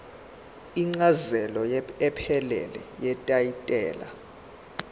incazelo ephelele yetayitela